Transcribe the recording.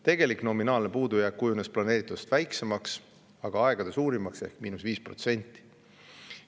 Tegelik nominaalne puudujääk kujunes planeeritust väiksemaks, kuid siiski aegade suurimaks ehk oli –5%.